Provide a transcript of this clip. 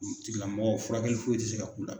O tigilamɔgɔ furakɛli foyi tɛ se ka k'u la.